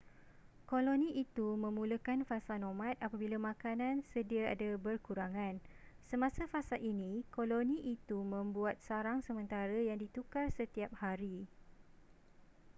koloni itu memulakan fasa nomad apabila makanan sediada berkurangan. semasa fasa ini, koloni ituy membuat sarang sementara yang ditukar setiap hari